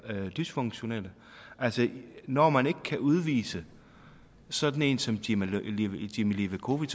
dysfunktionelle når man ikke kan udvise sådan en som jimmi levakovic